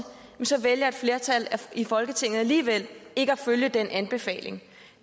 så vælger et flertal i folketinget alligevel ikke at følge den anbefaling